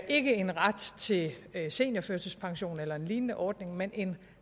ikke en ret til seniorførtidspension eller en lignende ordning men en